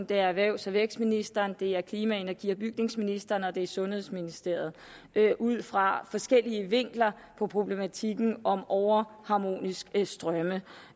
det er erhvervs og vækstministeriet det er klima energi og bygningsministeriet og det er sundhedsministeriet ud fra forskellige vinkler på problematikken om overharmoniske strømme